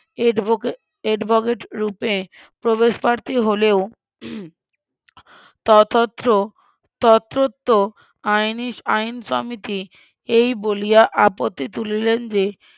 Advocate advocate রূপে প্রবেশ প্রার্থী হলেও ততত্র ততত্র আইনি আইন সমিতি এই বলিয়া আপত্তি তুলিলেন যে,